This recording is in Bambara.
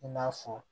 I n'a fɔ